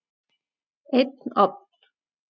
Einn ofn.